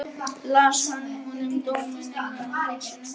Í hvaða vitleysu erum við eiginlega lentar?